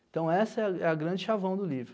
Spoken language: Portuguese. Então essa é é a grande chavão do livro.